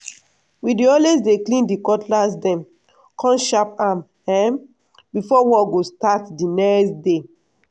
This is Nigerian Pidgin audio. we dey always dey clean di cutlass dem come sharp am um before work go start di next day.